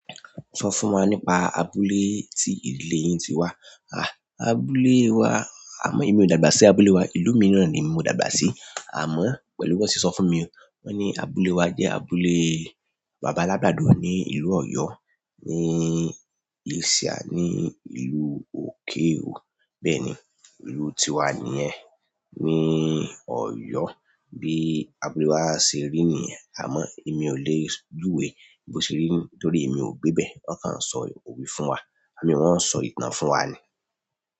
Sọ fún wa nípa abúlé tí ìdílé yín ti wá. À, abúlé wa, àmọ́ èmi ò dàgbà sí abúlé wa, ìlú míràn ni mo dàgbà sí. Àmọ́ pẹ̀lú bí wọ́n sì sọ fún mi, wọ́n ní abúlé wa jẹ́ abúlé bàbá alágbàdo ni ìlú Ọ̀yọ́, ní ìsìà ní ìlú òkehò, bẹ́ẹ̀ni, ìlú tiwa nìyẹn, ni Ọ̀yọ́ bí abúlé wa ṣe rí nìyẹn, àmọ́ èmi ò lè júwe bó ṣe rí nítorí èmi ò gbébẹ̀. Wọ́n kàn ń sọ òwe fún wa, wọ́n ń sọ ìtàn fún wa ni.